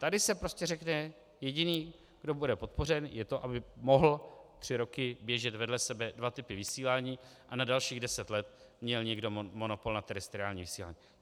Tady se prostě řekne: jediný, kdo bude podpořen, je to, aby mohly tři roky běžet vedle sebe dva typy vysílání a na dalších deset let měl někdo monopol na terestriální vysílání.